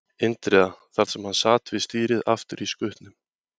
Indriða, þar sem hann sat við stýrið aftur í skutnum.